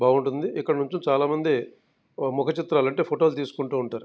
బాగుంటుంది ఇక్కడ నుండి చాలా మంది ముఖ చిత్రాలు అంటే ఫోటో లు తీసుకుంటూ ఉంటారు.